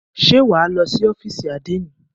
Ṣé wà á lọ sí ófìsì àdénì?